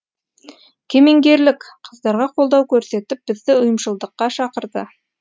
кемеңгерлік қыздарға қолдау көрсетіп бізді ұйымшылдыққа шақырды